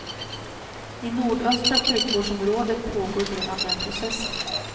I nordöstra sjukvårdsområdet pågår redan den processen.